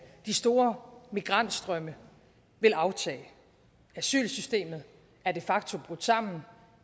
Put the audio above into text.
de store migrantstrømme vil aftage asylsystemet er de facto brudt sammen